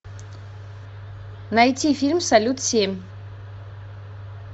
найти фильм салют семь